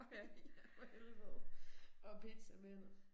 Ja for helvede. Og pizzamænd